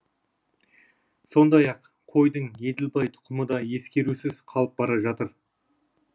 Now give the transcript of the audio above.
сондай ақ қойдың еділбай тұқымы да ескерусіз қалып бара жатыр